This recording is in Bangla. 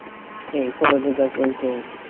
এই ফলাদি গাছ বলতে,